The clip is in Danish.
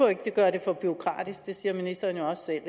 at gøre det for bureaukratisk det siger ministeren jo også